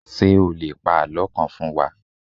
Ṣé o lè pa àlọ́ kan fún wa?